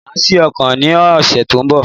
Màá sí ọ̀kan ní òsè tó n bọ̀